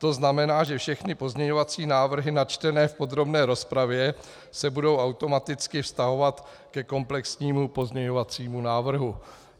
To znamená, že všechny pozměňovací návrhy načtené v podrobné rozpravě se budou automaticky vztahovat ke komplexnímu pozměňovacímu návrhu.